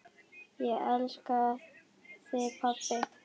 Ég elska þig, pabbi.